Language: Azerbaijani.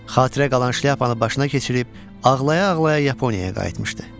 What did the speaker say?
Xatirə qalan şlyapanı başına keçirib ağlaya-ağlaya Yaponiyaya qayıtmışdı.